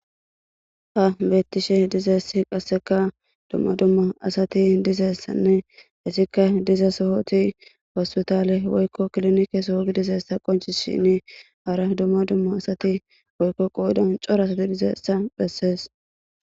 ha beettishe dizeessi qasseka dumma dumma asati dizessanne issikka diza sohoti hospitale woykko klinike soho gidizessa qonci shinni hara dumma dumma asati woykko qoodan coras didizeessa bhessees